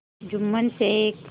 Jumman Sheikh